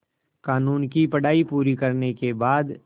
क़ानून की पढा़ई पूरी करने के बाद